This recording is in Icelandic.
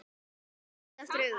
Hann klemmdi aftur augun